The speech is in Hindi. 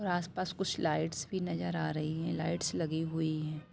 और आस-पास कुछ लाइट्स भी नजर आ रही है लाइट्स लगी हुई है।